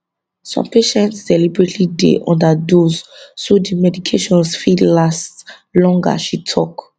some patients deliberately dey underdose so di medications fit last longer she tok